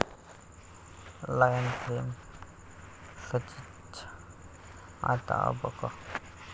Lion' fame सनीचं आता 'अ ब क'!